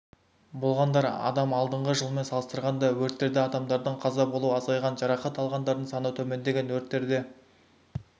болғандар адам алдыңғы жылмен салыстырғанда өрттерде адамдардың қаза болуы азайған жарақат алғандардың саны төмендеген өрттерде